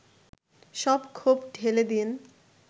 সব ক্ষোভ ঢেলে দেন